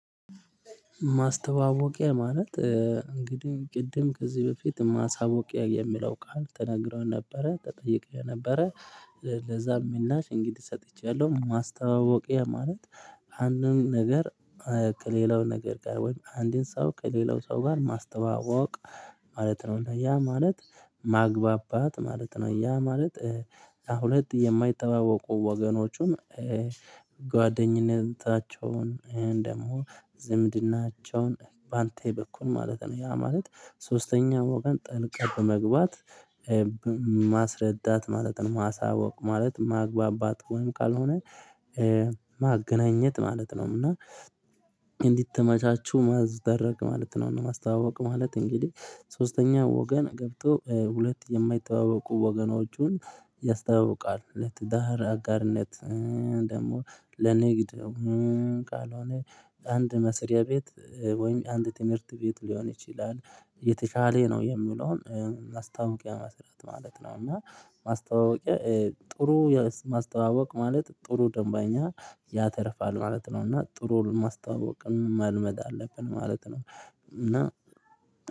ማስተዋወቂያ ማለት እንግዲህ ቅድም ከዚህ በፊት ማሳወቂያ የሚለው ቃል ተነግረው ነበረ ተጠይቀን ነበረ። ለዛም ምላሽ እንግዲህ ሰጥቻለሁ ማስተዋወቂያ ማለት። አንድን ነገር ከሌላው ነገር ጋር ወይም አንድን ሰው ከሌላው ሰው ጋር ማስተዋወቅ ማለት ነው። እና ያ ማለት ማግባባት ማለት ነው። ያ ማለት ለሁለት የማይተዋወቁ ወገኖቹን ጓደኝነታቸውን ደግሞ ዝምድናቸውን በአንተ በኩል ማለት ነው። ያ ማለት ሶስተኛ ወገን ጠልቀህ በመግባት ማስረዳት ማለት ነው። ማሳወቅ ማለት ማግባባት ወይም ካልሆነ ማገናኘት ማለት ነውም። እና እንዲተመቻቹ ማዝደረግ ማለት ነው። እና ማስተዋወቅ ማለት እንግዲህ ሶስተኛ ወገን ገብቶ ሁለት የማይተዋወቁ ወገኖቹን ያስተዋውቃል። ለትዳር አጋርነት ደግሞ ለንግድ ካልሆነ አንድ መስሪያ ቤት ወይም አንድ ትምህርት ቤት ሊሆን ይችላል። የተቻለ ነው የሚለውን ማስታወቂያ መስራት ማለት እና ማስተዋወቂያ ጥሩ ማስተዋወቅ ማለት ጥሩ ደንበኛ ያተርፋል ማለት ነው። እና ጥሩ ማስታወቅ መልመድ አለብን ማለት ነው። እና